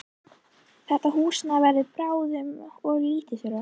Þetta húsnæði verður bráðum of lítið fyrir okkur.